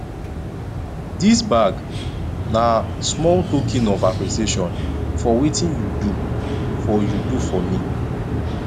dis bag na small token of appreciation for wetin you do for you do for me